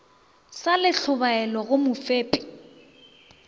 sa le tlhobaelo go mofepi